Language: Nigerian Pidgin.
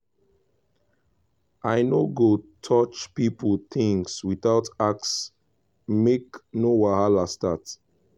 i no go touch pipo things without ask make no wahala start.